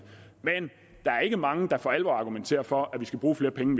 men der er ikke mange der for alvor argumenterer for at vi skal bruge flere penge